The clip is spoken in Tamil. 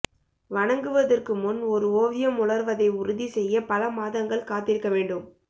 வணங்குவதற்கு முன் ஒரு ஓவியம் உலர்வதை உறுதி செய்ய பல மாதங்கள் காத்திருக்க வேண்டும்